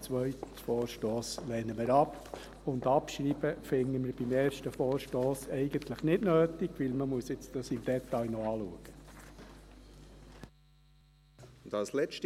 Den zweiten Vorstoss lehnen wir ab, und Abschreiben finden wir beim ersten Vorstoss eigentlich nicht nötig, weil man das nun noch im Detail anschauen muss.